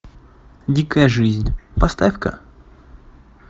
дикая жизнь поставь ка